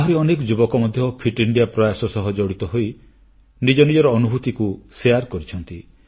ଆହୁରି ଅନେକ ଯୁବକ ମଧ୍ୟ ଫିଟ୍ ଇଣ୍ଡିଆ ପ୍ରୟାସ ସହ ଜଡ଼ିତ ହୋଇ ନିଜ ନିଜର ଅନୁଭୂତିଗୁଡ଼ିକୁ ବାଣ୍ଟୁଛନ୍ତି